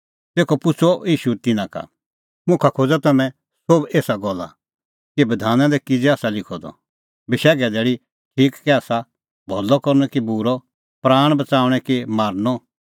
तेखअ पुछ़अ ईशू तिन्नां का मुखा खोज़ा तम्हैं सोभ एसा गल्ला कि बधाना दी किज़ै आसा लिखअ द बशैघे धैल़ी ठीक कै आसा भलअ करनअ कि बूरअ प्राण बच़ाऊंणै कि मारनअ